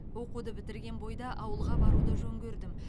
оқуды бітірген бойда ауылға баруды жөн көрдім